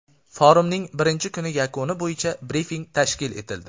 Forumning birinchi kuni yakuni bo‘yicha brifing tashkil etildi.